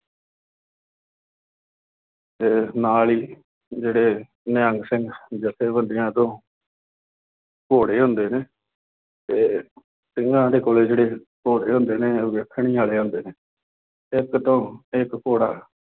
ਫੇਰ ਨਾਲ ਹੀ ਜਿਹੜੇ ਨਿਹੰਗ ਸਿੰਘ ਜੱਥੇਬੰਦੀਆਂ ਤੋਂ ਘੋੜੇ ਹੁੰਦੇ ਨੇ, ਅਤੇ ਸਿੰਘਾਂ ਦੇ ਕੋਲੇ ਜਿਹੜੇ ਘੋੜੇ ਹੁੰਦੇ ਨੇ ਉਹ ਵੇਖਣੀ ਵਾਲੇ ਹੁੰਦੇ ਨੇ, ਇੱਕ ਤੋਂ ਇੱਕ ਘੋੜਾ